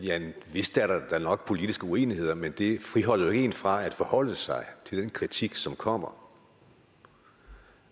vist er der da nok politiske uenigheder men det friholder jo ikke en fra at forholde sig til den kritik som kommer